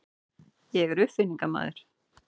Ég er uppfinningamaður.